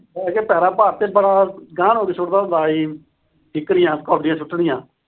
ਬਹਿ ਕੇ ਪੈਰਾਂ ਭਾਰ ਤੇ ਬੜਾ ਅਗਾਂਹ ਨੂੰ ਹੋ ਕੇ ਸਿੱਟਦਾ ਹੁੰਦਾ ਸੀ। ਠਿੱਕਰੀਆਂ ਕੌਡੀਆਂ ਸੁੱਟਣੀਆਂ।